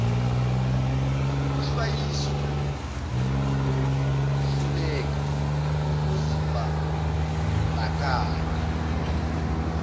ukuhlwayiswa ngokuhluleka ukuzibandakanya